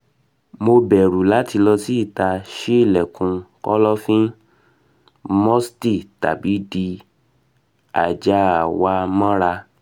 mo bẹru lati lọ si ita ṣii ilẹkun kọlọfin musty tabi di aja wa mọra